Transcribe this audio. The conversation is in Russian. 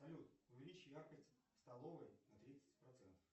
салют увеличь яркость в столовой на тридцать процентов